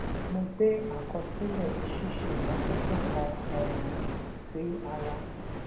mo gbé àkọsílè ṣíṣe ìmótótó kan um sí ara